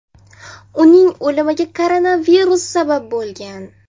Uning o‘limiga koronavirus sabab bo‘lgan.